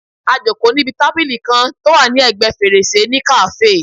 A jòkó níbi tábìlì kan tó wà ní ẹ̀gbẹ́ fèrèsé ní kàáfè